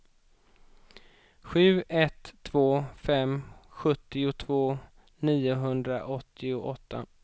sju ett två fem sjuttiotvå niohundraåttioåtta